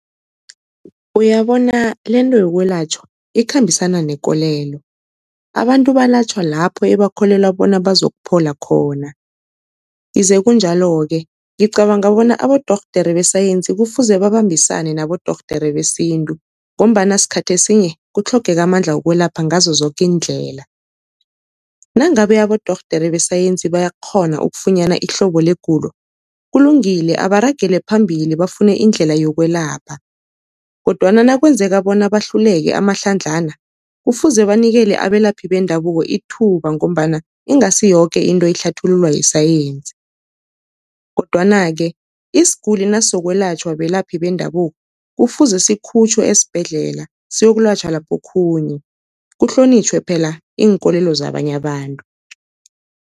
Uyabona lento yokwelatjhwa ikhambisana nekolelo, abantu balatjhwa lapho ebakholelwa bona bazokuphola khona, ize kunjalo-ke ngicabanga bona abodorhodere besayensi kufuze babambisane nabodorhodere besintu, ngombana sikhathi esinye kutlhogeka amandla wokwelapha ngazo zoke iindlela. Nangabe abodorhodere besayensi bayakghona ukufunyana ihlobo legulo, kulungile abaragele phambili bafune indlela yokwelapha kodwana nakwenzeka bona bahluleke amahlandlana, kufuze banikele abelaphi bendabuko ithuba, ngombana ingasi yoke into ihlathululwa yisayensi. Kodwana-ke isiguli nasizokwelatjhwa belaphi bendabuko, kufuze sikhutjhwe esibhedlela siyokulatjhwa lapho okhunye, kuhlonitjhwe phela iinkolelo zabanye abantu.